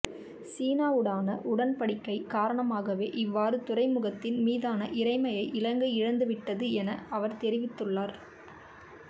சீனாவுடான உடன்படிக்கை காரணமாகவே இவ்வாறு துறைமுகத்தின் மீதான இறைமையை இலங்கை இழந்துவிட்டது என அவர் தெரிவித்துள்ளார்